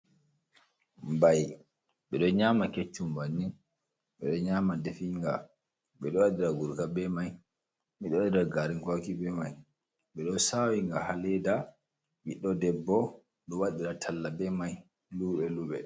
Mbai: Ɓeɗo nyama keccum banin, ɓeɗo nyama dafinga, ɓeɗo waɗira gurga be mai, ɓeɗo waɗira garin kwaki be mai, ɓeɗo sawinga ha leda ɓiɗɗo debbo ɗo waɗira talla be mai luɓe luɓe.